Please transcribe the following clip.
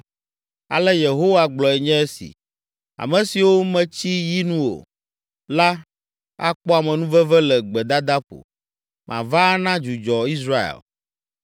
Ale Yehowa gblɔe nye esi: “Ame siwo metsi yi nu o la akpɔ amenuveve le gbedadaƒo, mava ana dzudzɔ Israel.”